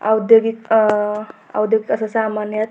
औद्योगिक अ औद्योगिक अस सामान आहे.